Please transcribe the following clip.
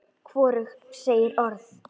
Hvorug segir orð.